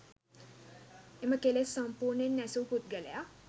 එම කෙලෙස් සම්පුර්ණයෙන් නැසූ පුද්ගලයා